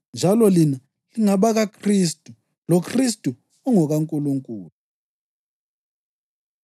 njalo lina lingabakaKhristu, loKhristu ungokaNkulunkulu.